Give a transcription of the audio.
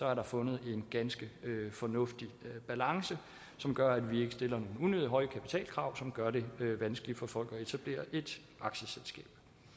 er der fundet en ganske fornuftig balance som gør at vi ikke stiller unødigt høje kapitalkrav som gør det vanskeligt for folk at etablere et aktieselskab